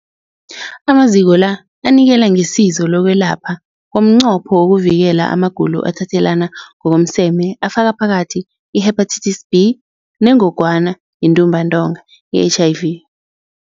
Amaziko la anikela ngesizo lokwelapha ngomnqopho wokuvikela amagulo athathelana ngokomseme afaka phakathi i-Hepatitis B neNgogwana yeNtumbantonga, i-HIV.